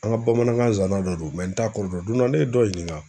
An ŋa bamanankan zanda dɔ don n t'a kɔrɔ dɔn. Don dɔ ne ye dɔ ɲininka